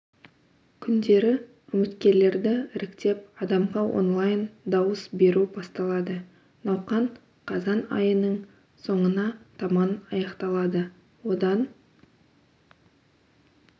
күндері үміткерлерді іріктеп адамға онлайн дауыс беру басталады науқан қазан айының соңына таман аяқталады одан